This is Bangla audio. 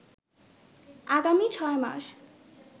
আগামী ছয় মাস